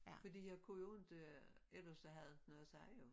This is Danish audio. Fordi jeg kunne jo ikke ellers så havde jeg ikke noget at sige jo